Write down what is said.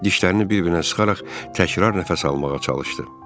Dişlərini bir-birinə sıxaraq təkrar nəfəs almağa çalışdı.